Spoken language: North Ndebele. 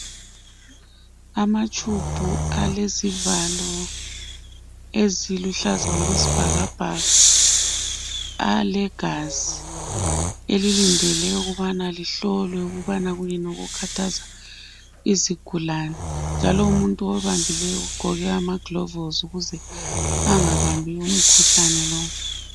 Amatshubhu alezivalo eziluhlaza okwesibhakabhaka alegazi elilindele ukubana lihlolwe ukuthi kuyini okulimaza izigulane njalo umuntu owabambileyo ugqoke amaglovisi ukuze angabambi umkhuhlane lowo